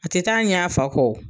A tɛ taa ɲɛ a fa kɔ o.